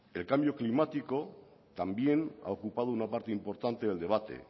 el cambio climático también ha ocupado una parte importante del debate